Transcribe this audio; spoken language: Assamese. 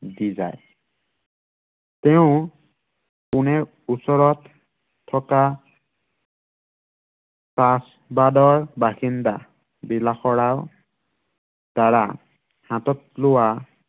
দি যায়। তেওঁ, পুনেৰ ওচৰত থকা তাচ বান্দৰ বাসিন্দা বিলাস ৰাম দ্বাৰা হাতত লোৱা দি যায়